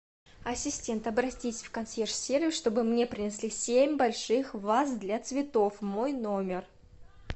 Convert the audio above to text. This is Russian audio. ассистент обратись в консьерж сервис чтобы мне принесли семь больших ваз для цветов в мой номер